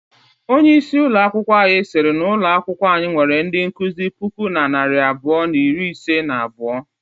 Onye isi ụlọ akwụkwọ siri na ụlọ akwụkwọ anyị nwere ndị nkụzi puku na narị abụọ na iri isii na abuo.